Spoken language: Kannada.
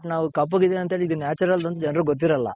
but ನಾವು ಕಪ್ಪಗ್ ಇದೀನಿ ಅಂತ ಹೇಳಿ ಇದು Natural ಅಂತ ಹೇಳಿ ಜನ್ರಗ್ ಗೊತ್ತಿರಲ್ಲ.